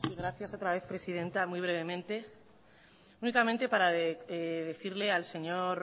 gracias otra vez presidenta muy brevemente únicamente para decirle al señor